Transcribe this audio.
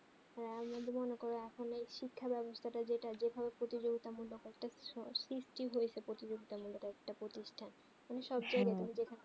হেঁ আমিও আমিও মনে করে যে এখন শিক্ষা বেবস্তা তা যেটা যেই ভাবে প্রতিযোগিতা মূল্য করতে সহজ কি প্রত্যাগিতা মূল্য তা একটা প্রতিষ্ঠা